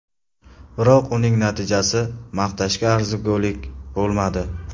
Biroq uning natijasi maqtashga arzigulik bo‘lmadi.